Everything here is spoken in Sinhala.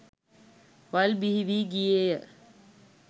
වල් බිහි වී ගියේය.